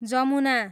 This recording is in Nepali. जमुना